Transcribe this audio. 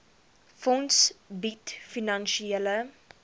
fonds bied finansiële